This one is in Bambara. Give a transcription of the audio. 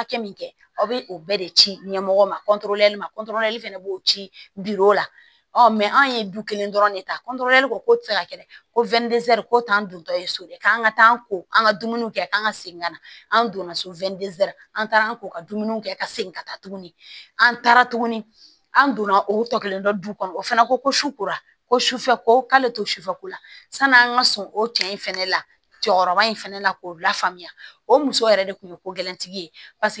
Hakɛ min kɛ aw bɛ o bɛɛ de ci ɲɛmɔgɔ ma fana b'o ci biro o la an ye du kelen dɔrɔn de ta ko tɛ se ka kɛ ko ko t'an dontɔ ye so dɛ k'an ka taa ko an ka dumuni kɛ a kan ka segin ka na an donna so an taara k'u ka dumuniw kɛ ka segin ka taa tuguni an taara tuguni an donna o tɔ kelen dɔ kɔnɔ o fana ko ko su kora ko sufɛ ko k'ale to sufɛ la san'an ka sɔn o cɛ in fɛnɛ la jɔkɔrɔba in fɛnɛ la k'o lafaamuya o muso yɛrɛ de kun ye ko gɛlɛntigi ye paseke